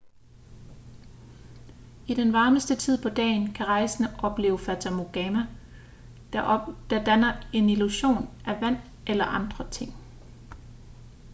i den varmeste tid på dagen kan rejsende opleve fatamorgana der danner en illusion af vand eller andre ting